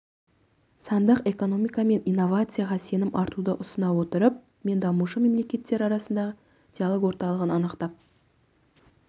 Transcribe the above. сандық экономика мен инновацияға сенім артуды ұсына отырып мен дамушы мемлекеттер арасындағы диалог орталығын анықтап